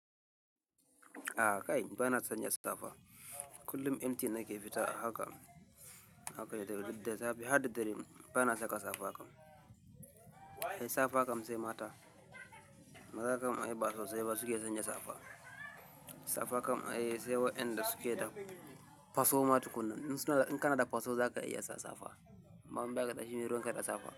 A kai, ba na san ya safa. Kullum empty nake fita a haka, haka da safe har da dare bana saka safa kam ai safa kam sai mata. Maza kam ai ba sosai ba su ke sanya safa. Safa kam ai sai wa'inda su ke da faso matu kunne. In suna, in kana da faso zaka iya sa safa. Amma in ba ƙadashi meruwan ka da safa.